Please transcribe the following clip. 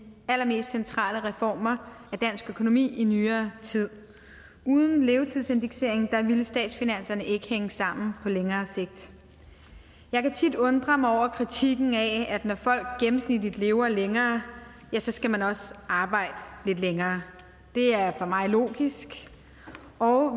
allermest centrale reformer af dansk økonomi i nyere tid uden levetidsindekseringen ville statsfinanserne ikke hænge sammen på længere sigt jeg kan tit undrer mig over kritikken af at når folk gennemsnitligt lever længere ja så skal man også arbejde lidt længere det er for mig logisk og